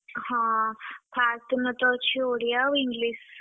ହଁ first ଦିନ ତଅଛି ଓଡିଆ ଆଉ English ।